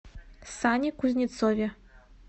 сане кузнецове